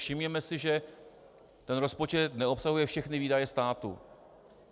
Všimněme si, že ten rozpočet neobsahuje všechny výdaje státu.